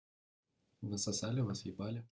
вы сосали вас ебали